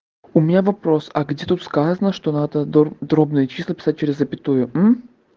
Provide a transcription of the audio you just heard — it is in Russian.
у меня вопрос а где тут сказано что надо дробные числа писать через запятую